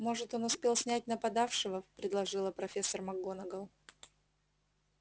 может он успел снять нападавшего предположила профессор макгонагалл